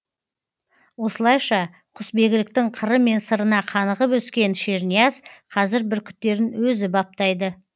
осылайша құсбегіліктің қыры мен сырына қанығып өскен шернияз қазір бүркіттерін өзі баптайды